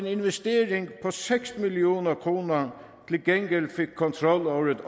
investering på seks million kroner fik kontrol over et